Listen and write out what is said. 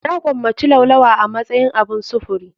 Na gomaci laulawa a matsayin abun sufuri.